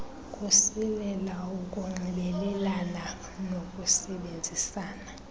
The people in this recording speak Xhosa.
kusilela ukunxibelelana nokusebenzisana